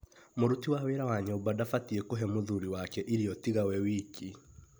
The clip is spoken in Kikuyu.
Mũruti wa wĩra wa nyũmba ndafatiĩ kũhe mũthuri wake irio tiga we wiki.